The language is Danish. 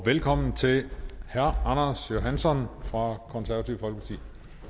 velkommen til herre anders johansson fra konservative folkeparti